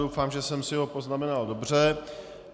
Doufám, že jsem si ho poznamenal dobře.